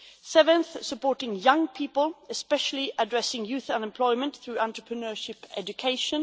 seventhly, supporting young people, and especially addressing youth unemployment through entrepreneurship education